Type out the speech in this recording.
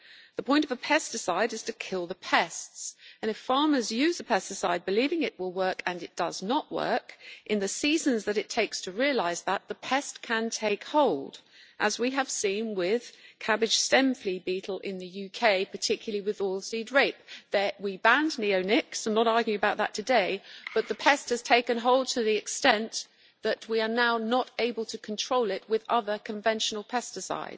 The point of a pesticide is to kill the pests, and if farmers use a pesticide believing it will work and it does not work, the fact is that, in the seasons it takes to realise that, the pest can take hold, as we have seen with cabbage stem flea beetle in the UK, particularly with oilseed rape. There we banned neonicotinoids I am not arguing about that today, but the pest has taken hold to the extent that we are now not able to control it with other conventional pesticides.